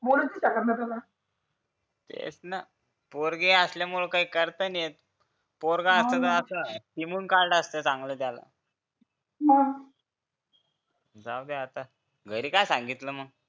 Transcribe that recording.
बोलू नाही तेच ना पोरगी असल्यामुळे काय करता नाहीयेत हा ना पोरगं असलं असतं तर हिमून काढलं असतं चांगलं त्याला मग जाऊ दे आता घरी काय सांगितलं मग